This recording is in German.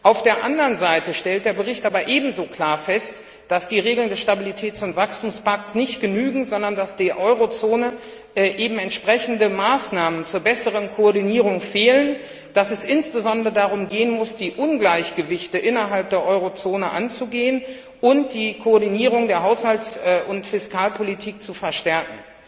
Auf der anderen Seite stellt der Bericht aber ebenso klar fest, dass die Regeln des Stabilitäts und Wachstumspakts nicht genügen, sondern dass der Eurozone eben entsprechende Maßnahmen zur besseren Koordinierung fehlen, dass es insbesondere darum gehen muss, die Ungleichgewichte innerhalb der Eurozone anzugehen und die Koordinierung der Haushalts und Fiskalpolitik zu verstärken.